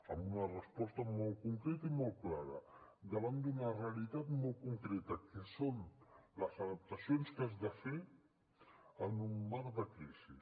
amb una resposta molt concreta i molt clara davant d’una realitat molt concreta que són les adaptacions que has de fer en un marc de crisi